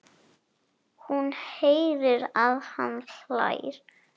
Hún heyrir að hann hlær.